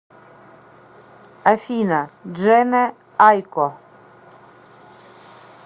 афина джене айко